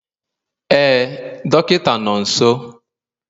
Ee dọkịta nọ nso